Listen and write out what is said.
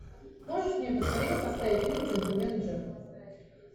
можешь мне поскорее поставить фильм джентельмен джек